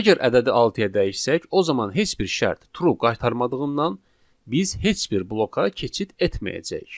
Əgər ədədi altıya dəyişsək, o zaman heç bir şərt true qaytarmadığından, biz heç bir bloka keçid etməyəcəyik.